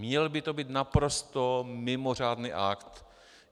Měl by to být naprosto mimořádný akt.